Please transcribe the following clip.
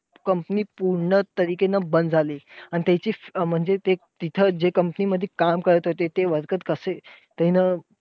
Comapny पूर्ण नं बंद झाली. आणि त्यांची अं म्हणजे तिथं जे company मध्ये काम करत होते, ते worker कसे तेन